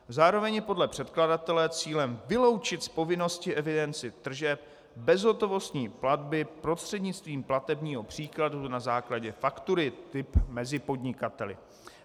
Zároveň je podle předkladatele cílem vyloučit z povinnosti evidence tržeb bezhotovostní platby prostřednictvím platebního příkazu na základě faktury - typ mezi podnikateli.